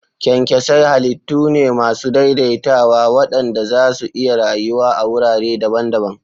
Kyankyasai halittu ne masu daidaitawa waɗanda za su iya rayuwa a wurare daban-daban.